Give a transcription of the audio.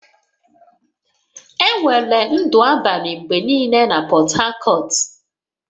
Enwere ndụ abalị mgbe niile na Portharcourt